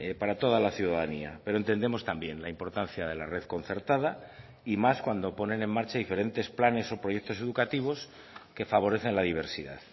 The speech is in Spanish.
para toda la ciudadanía pero entendemos también la importancia de la red concertada y más cuando ponen en marcha diferentes planes o proyectos educativos que favorecen la diversidad